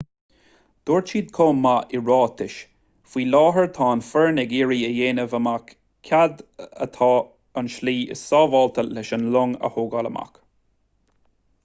dúirt siad chomh maith i ráiteas faoi láthair tá an fhoireann ag iarraidh a dhéanamh amach cad é an tslí is sábháilte leis an long a thógáil amach